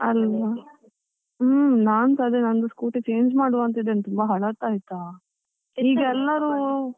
ಅಲ್ಲ ಹ್ಮ್, ನಾನ್ಸ ಅದೆ ನಂದು scooty change ಮಾಡುವ ಅಂತ ಇದ್ದೇನೆ ತುಂಬ ಹಲತ್ ಆಯ್ತಾ, .